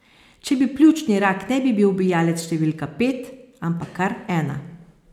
Če bi, pljučni rak ne bi bil ubijalec številka pet, ampak kar ena.